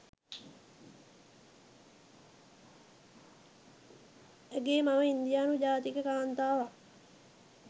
ඇගේ මව ඉන්දියානු ජාතික කාන්තාවක්